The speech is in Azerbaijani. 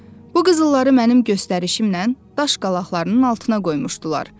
Bu qızılları mənim göstərişimlə daş qalaqlarının altına qoymuşdular.